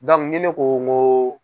ni ne ko nko.